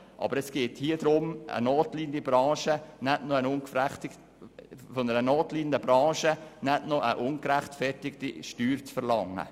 Aber hier geht es darum, von einer notleidenden Branche nicht auch noch eine ungerechtfertigte Steuer zu verlangen.